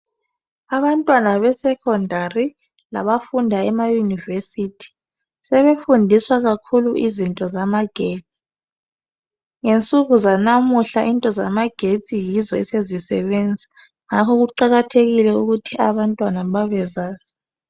Abantwana besekhondari labafunda emaYunivesi sebefundiswa kakhulu izinto zamagetsi. Ngensuku zanamuhla izinto zamagetsi yizo essezisebenza ngakho kuqakathekile ukuthi abantwana babezazi.